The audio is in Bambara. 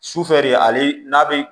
Sufɛ de ale n'a bɛ